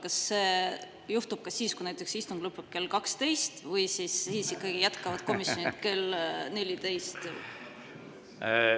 Kas see on ka siis nii, kui istung lõpeb näiteks kell 12, või siis ikkagi jätkavad komisjonid kell 14?